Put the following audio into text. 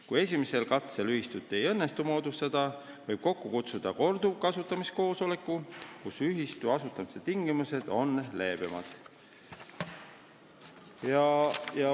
Kui esimesel katsel ühistut ei õnnestu moodustada, võib kokku kutsuda korduvasutamiskoosoleku, kus ühistu asutamise tingimused on leebemad.